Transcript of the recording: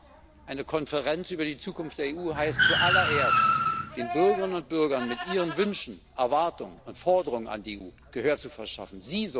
Ja, eine Konferenz über die Zukunft der EU heißt zuallererst, den Bürgerinnen und Bürgern mit ihren Wünschen, Erwartungen und Forderungen an die EU Gehör zu verschaffen.